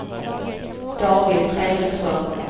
David Fredriksson